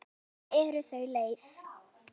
Stundum eru þau leið.